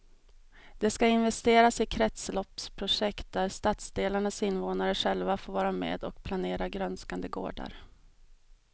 Det ska investeras i kretsloppsprojekt där stadsdelarnas invånare själva får vara med och planera grönskande gårdar.